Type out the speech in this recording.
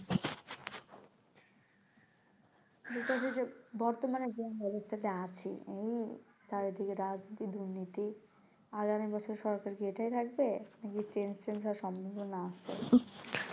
এটা যে যে বর্তমানের জনব্যবস্থাতে আছে হুম চারিদিকে রাজনীতি দুর্নীতি আগামী বছর সরকার কি এটাই থাকবে যদি change চেঞ্জ হওয়ার সম্ভাবনা আসে